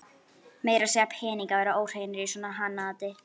Meira að segja peningar verða óhreinir í svona hanaati.